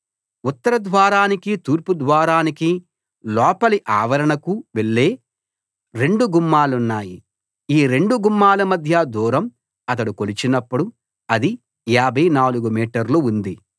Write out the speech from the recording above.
ఉత్తర ద్వారానికి తూర్పు ద్వారానికి లోపలి ఆవరణకు వెళ్ళే రెండు గుమ్మాలున్నాయి ఈ రెండు గుమ్మాల మధ్య దూరం అతడు కొలిచినప్పుడు అది 54 మీటర్లు ఉంది